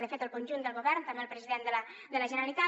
de fet el conjunt del govern també el president de la generalitat